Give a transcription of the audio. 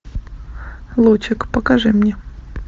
лучик покажи мне